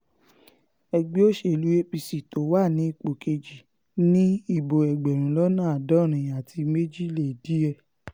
ẹgbẹ́ òṣèlú apc tó wà ní ipò kejì ni ìbò ẹgbẹ̀rún lọ́nà àádọ́rin àti méjì lé díẹ̀